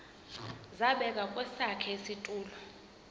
zabekwa kwesakhe isitulo